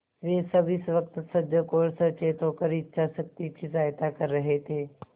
वे सब इस वक्त सजग और सचेत होकर इच्छाशक्ति की सहायता कर रहे थे